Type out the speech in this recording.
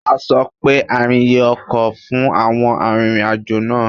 A sọ pé àrìnyè ọkọ̀ fún àwọn arìnrìn-àjò náà.